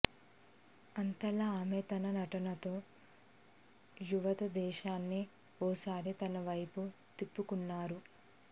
అంతలా ఆమె తన నటనతో యావత్ దేశాన్ని ఓ సారి తన వైపుకు తిప్పుకున్నారు